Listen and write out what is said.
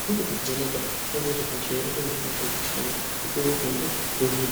anotokuvheneka kuone kuti hosha inenge yakubAta yakaita sei wopuwe mutombo wohinwa.